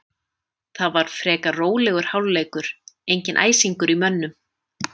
Það var frekar rólegur hálfleikur, enginn æsingur í mönnum.